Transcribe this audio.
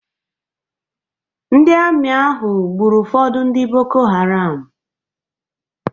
Ndị ami ahụ gburu ụfọdụ ndị Boko Haram.